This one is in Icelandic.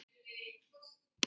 Verkið entist í þrjú sumur.